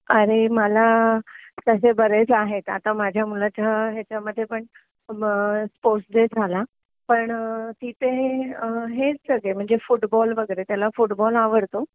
अरे मला तशे बरेच आहेत आता माझ्या मुलाच्या ह्याच्यामध्ये पण स्पोर्ट्स डे झाला. पण तिथे हेच सगळे फुटबॉल वगैरे.त्याला फुटबॉल आवडतो